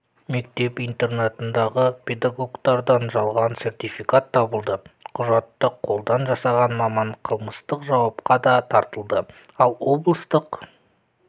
мектеп-интернатындағы педагогтардан жалған сертификат табылды құжатты қолдан жасаған маман қылмыстық жауапқа да тартылды ал облыстық